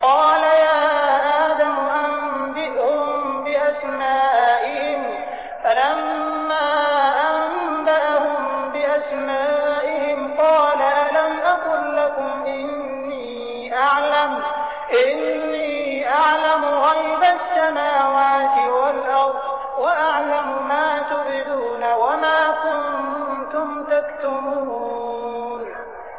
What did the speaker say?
قَالَ يَا آدَمُ أَنبِئْهُم بِأَسْمَائِهِمْ ۖ فَلَمَّا أَنبَأَهُم بِأَسْمَائِهِمْ قَالَ أَلَمْ أَقُل لَّكُمْ إِنِّي أَعْلَمُ غَيْبَ السَّمَاوَاتِ وَالْأَرْضِ وَأَعْلَمُ مَا تُبْدُونَ وَمَا كُنتُمْ تَكْتُمُونَ